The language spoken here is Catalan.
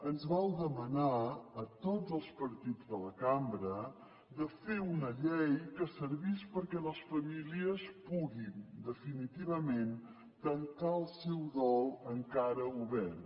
ens vau demanar a tots els partits de la cambra de fer una llei que servís perquè les famílies puguin definitivament tancar el seu dol encara obert